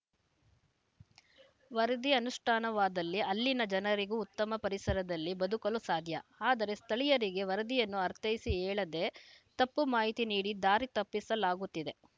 ವರದಿ ಅನುಷ್ಠಾನವಾದಲ್ಲಿ ಅಲ್ಲಿನ ಜನರಿಗೂ ಉತ್ತಮ ಪರಿಸರದಲ್ಲಿ ಬದುಕಲು ಸಾಧ್ಯ ಆದರೆ ಸ್ಥಳೀಯರಿಗೆ ವರದಿಯನ್ನು ಅರ್ಥೈಸಿ ಹೇಳದೆ ತಪ್ಪು ಮಾಹಿತಿ ನೀಡಿ ದಾರಿ ತಪ್ಪಿಸಲಾಗುತ್ತಿದೆ